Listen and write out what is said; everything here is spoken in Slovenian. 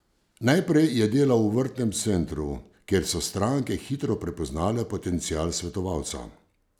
Najprej je delal v vrtnem centru, kjer so stranke hitro prepoznale potencial svetovalca.